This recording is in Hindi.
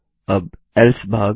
अब एल्से भाग